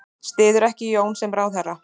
Styður ekki Jón sem ráðherra